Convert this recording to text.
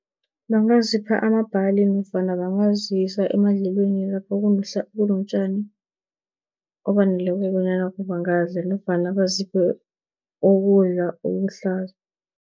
Bangazipha amabhali nofana bangazisa emadlelweni lapho kunotjani obaneleko, bonyana bangadla nofana baziphe ukudla okuhlaza.